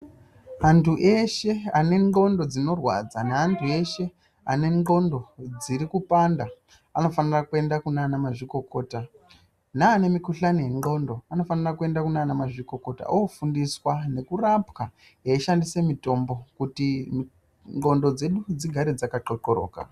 Antu eshe ane ndxondo dzinorwadza neantu eshe ane ndxondo dziri kupanda anofanira kuenda kunana mazvikokota neane mukhuhlani wendxondo vanofana kuenda Kuna mazvikokota ofundiswa nekurapwa veishandisa mutombo kuti ndxondo dzedu dzigare dzakaxoxoroka.